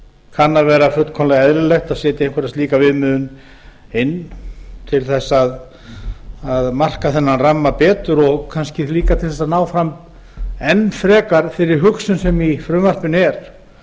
kann að vera fullkomlega eðlilegt að setja einhverja slíka viðmiðun inn til að marka þennan ramma betur og kannski líka til að ná fram enn frekar þeirri hugsun sem í frumvarpinu er